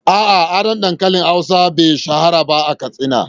A’a, a da, dankalin hausa be shahara ba a Katsina.